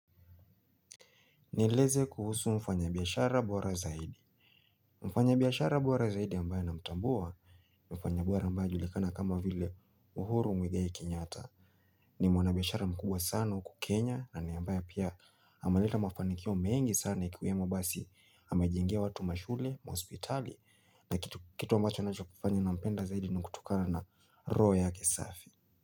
Nieleze kuhusu mfanya biashara bora zaidi. Mfanya biashara boara zaidi ambaye namtambua. Mfanya bora ambaye anajulikana kama vile uhuru mwigai kenyata ni mwanabiashara mkubwa sana uku kenya na ni ambaye pia amaleta mafanikio mengi sana ikiwemo basi amejengea watu mashule, mahospitali. Na kitu ambacho anachofanya na mpenda zaidi ni kutokana na roho ya kisafi.